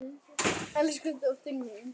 Elsku dóttir mín.